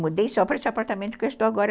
Mudei só para esse apartamento que eu estou agora.